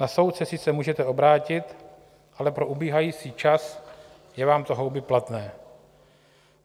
Na soud se sice můžete obrátit, ale pro ubíhající čas je vám to houby platné.